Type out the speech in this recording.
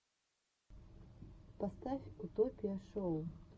поставь утопия шоу